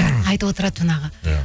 айтып отырады жаңағы иә